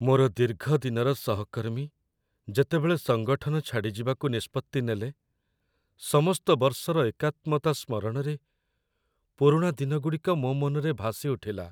ମୋର ଦୀର୍ଘ ଦିନର ସହକର୍ମୀ ଯେତେବେଳେ ସଙ୍ଗଠନ ଛାଡ଼ିଯିବାକୁ ନିଷ୍ପତ୍ତି ନେଲେ, ସମସ୍ତ ବର୍ଷର ଏକାତ୍ମତା ସ୍ମରଣରେ ପୁରୁଣା ଦିନଗୁଡ଼ିକ ମୋ ମନରେ ଭାସିଉଠିଲା।